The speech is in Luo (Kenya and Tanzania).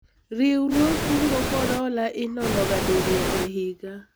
riwruog kungo kod hola inono ga diriyo e higa